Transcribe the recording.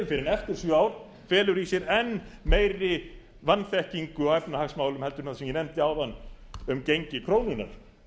en eftir sjö ár felur í sér einn meiri vanþekkingu á efnahagsmálum heldur en það sem ég nefndi áðan um gengi krónunnar